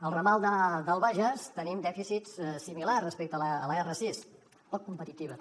al ramal del bages tenim dèficits similars respecte l’r sis poc competitiva també